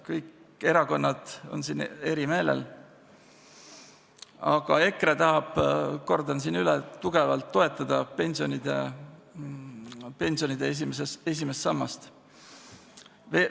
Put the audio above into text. Kõik erakonnad on siin eri meelel, aga EKRE tahab, kordan siin üle, tugevalt toetada pensionide esimest sammast.